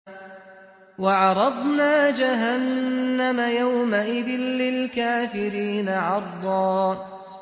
وَعَرَضْنَا جَهَنَّمَ يَوْمَئِذٍ لِّلْكَافِرِينَ عَرْضًا